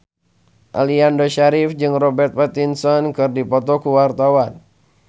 Aliando Syarif jeung Robert Pattinson keur dipoto ku wartawan